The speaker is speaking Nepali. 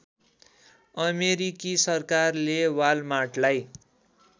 अमेरिकी सरकारले वालमार्टलाई